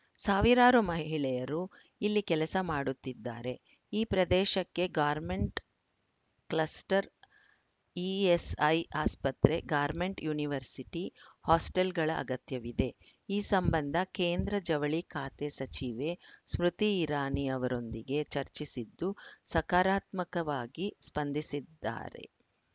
ಸಾವಿರಾರು ಮಹಿಳೆಯರು ಇಲ್ಲಿ ಕೆಲಸ ಮಾಡುತ್ತಿದ್ದಾರೆ ಈ ಪ್ರದೇಶಕ್ಕೆ ಗಾರ್ಮೆಂಟ್‌ ಕ್ಲಸ್ಟರ್‌ ಇಎಸ್‌ಐ ಆಸ್ಪತ್ರೆ ಗಾರ್ಮೆಂಟ್‌ ಯೂನಿವರ್ಸಿಟಿ ಹಾಸ್ಟೆಲ್‌ಗಳ ಅಗತ್ಯವಿದೆ ಈ ಸಂಬಂಧ ಕೇಂದ್ರ ಜವಳಿ ಖಾತೆ ಸಚಿವೆ ಸ್ಮೃತಿ ಇರಾನಿ ಅವರೊಂದಿಗೆ ಚರ್ಚಿಸಿದ್ದು ಸಕಾರಾತ್ಮಕವಾಗಿ ಸ್ಪಂದಿಸಿದ್ದಾರೆ